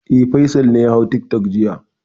E, Faisal ne ya hau tiktok jiya.